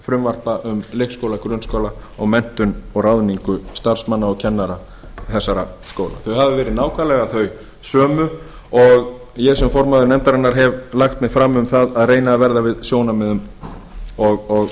frumvarpa um leikskóla grunnskóla og menntun og ráðningu starfsmanna og kennara þessara skóla þau hafa verið nákvæmlega þau sömu og ég sem formaður nefndarinnar hef lagt mig fram um það að reyna að verða við sjónarmiðum